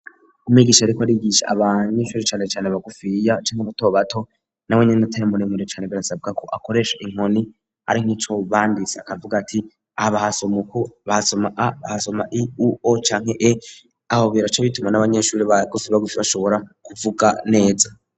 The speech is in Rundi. umwigisha ariko arigisha abanyeshuri cane cane bagufiya canke bato bato na wenyene atari muremure cane birasabwa ko akoresha inkoni ari nkico banditse akavuga ati aha bahasoma uku bahasoma a bahasoma i,u,o canke e aho bica bituma n'abanyeshuri base bashobora kuvuga neza.